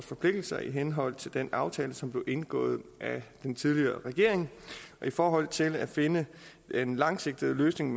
forpligtelser i henhold til den aftale som blev indgået af den tidligere regering i forhold til at finde en langsigtet løsning